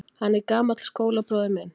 Hann er gamall skólabróðir minn.